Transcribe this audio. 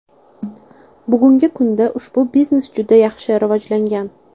Bugungi kunda, ushbu biznes juda yaxshi rivojlangan.